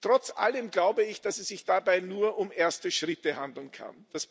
Trotz allem glaube ich, dass es sich dabei nur um erste Schritte handeln kann.